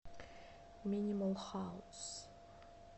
минимал хаус